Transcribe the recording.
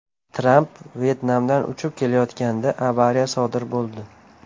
Tramp Vyetnamdan uchib ketayotganda avariya sodir bo‘ldi .